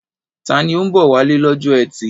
Ta ni ó ń bọ̀ wálé lọ́jọ́ ẹtì?